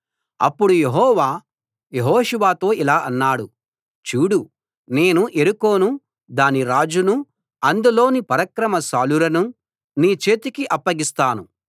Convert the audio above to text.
అప్పుడు యెహోవా యెహోషువతో ఇలా అన్నాడు చూడూ నేను యెరికోను దాని రాజును అందులోని పరాక్రమశాలురను నీ చేతికి అప్పగిస్తున్నాను